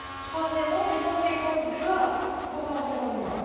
Troisièmement, il a des conséquences graves pour l'environnement.